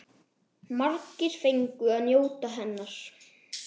Margir fengu að njóta hennar.